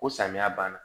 Ko samiya banna